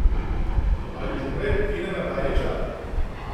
Ali že prej Kenana Bajrića.